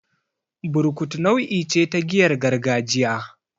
Burkutu nau'i ce ta giyar gargajiya.